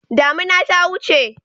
Damuna ta wuce.